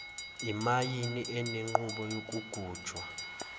imayini enenqubo yokugujwa